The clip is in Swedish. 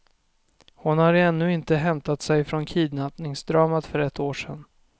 Hon har ännu inte hämtat sig från kidnappningsdramat för ett år sedan.